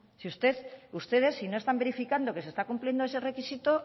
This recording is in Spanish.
ustedes si no están verificando que se está cumpliendo ese requisito